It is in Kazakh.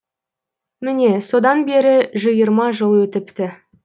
міне содан бері жиырма жыл өтіпті